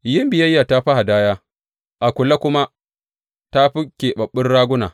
Yin biyayya ta fi hadaya a kula kuma ta fi ƙibabbun raguna.